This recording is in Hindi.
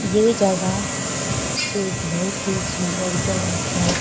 ये जगह एक बहुत ही सुंदर जगह है।